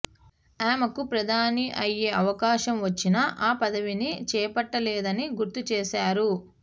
ఆమెకు ప్రధాని అయ్యే అవకాశం వచ్చినా ఆ పదవిని చేపట్టలేదని గుర్తు చేశారు